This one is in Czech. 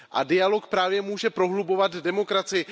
Dialog právě může prohlubovat demokracii.